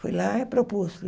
Fui lá e propus.